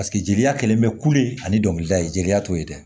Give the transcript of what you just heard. jeliya kɛlen bɛ kulu ani dɔnkilida ye jeliya t'o ye dɛ